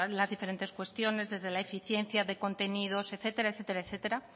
las diferentes cuestiones desde la eficiencia de contenidos etcétera